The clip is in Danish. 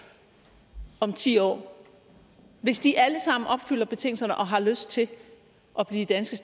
om ti år hvis de alle sammen opfylder betingelserne og har lyst til at blive danske